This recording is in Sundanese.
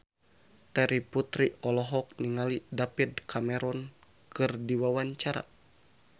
Terry Putri olohok ningali David Cameron keur diwawancara